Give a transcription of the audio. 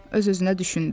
Öz-özünə düşündü.